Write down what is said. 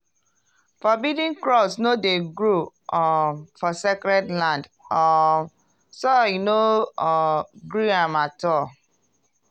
forbidden crops no dey grow um for sacred land - um soil no um gree am at all.